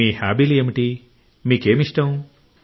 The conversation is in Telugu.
మీ హాబీలు ఏమిటి మీకు ఏమిష్టం